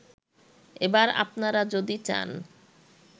এবার আপনারা যদি চান